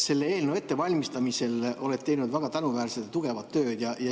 Selle eelnõu ettevalmistamisel oled sa teinud väga tänuväärset ja tugevat tööd.